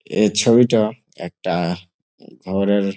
এই ছবিটা একটা ঘরের--